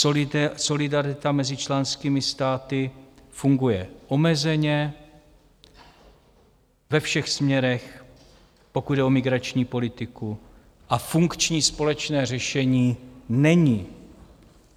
Solidarita mezi členskými státy funguje omezeně, ve všech směrech, pokud jde o migrační politiku, a funkční společné řešení není.